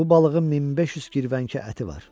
Bu balığın 1500 kirvənkə əti var.